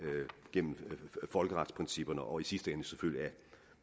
gennem folkeretsprincipperne og i sidste ende selvfølgelig ad